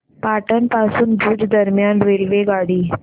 पाटण पासून भुज दरम्यान रेल्वेगाडी